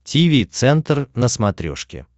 тиви центр на смотрешке